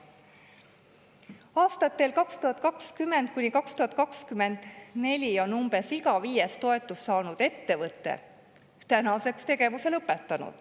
Umbes iga viies aastatel 2020–2024 toetust saanud ettevõte on tänaseks tegevuse lõpetanud.